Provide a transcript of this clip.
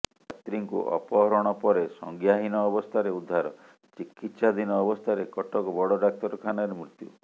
ଛାତ୍ରୀଙ୍କୁ ଅପହରଣ ପରେ ସଂଜ୍ଞାହୀନ ଅବସ୍ଥାରେ ଉଦ୍ଧାର ଚିକିତ୍ସାଧୀନ ଅବସ୍ଥାରେ କଟକ ବଡ ଡାକ୍ତରଖାନାରେ ମୃତ୍ୟୁ